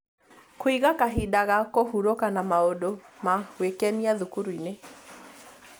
Kũiga kahinda ga kũhurũka na maũndũ ma gwĩkenia thukuru-inĩ